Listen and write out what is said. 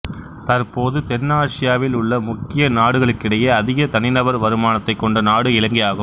தற்போது தென்னாசியாவில் உள்ள முக்கிய நாடுகளிடையே அதிக தனி நபர் வருமானத்தைக் கொண்ட நாடு இலங்கையாகும்